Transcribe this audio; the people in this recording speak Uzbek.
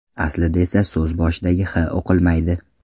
Aslida esa so‘z boshidagi H o‘qilmaydi.